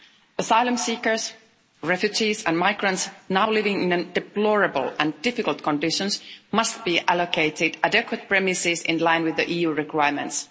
Asylum seekers, refugees and migrants now living in deplorable and difficult conditions must be allocated adequate premises in line with EU requirements.